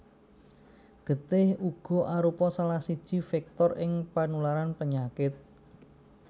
Getih uga arupa salah siji vektor ing panularan penyakit